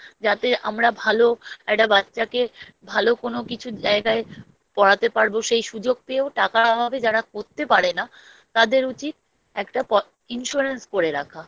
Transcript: যাতে আমরা ভালো এটা বাচ্চাকে ভালো কোনো কিছু জায়গায় পড়াতে পারবো সেই সুযোগ পেয়েও টাকার অভাবে যারা করতে পারে না তাদের উচিৎএকটা প Insurance করে রাখা